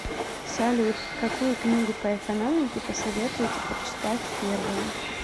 салют какую книгу по экономике посоветуете прочитать первой